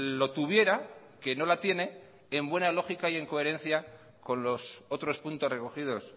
lo tuviera que no la tiene en buena lógica y en coherencia con los otros puntos recogidos